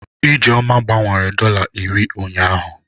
Ijeoma gbanwere dọla iri ụnyahụ.